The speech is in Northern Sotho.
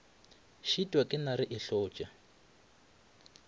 šitwa ke nare e hlotša